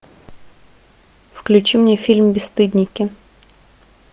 включи мне фильм бесстыдники